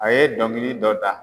A ye dɔnkili dɔ da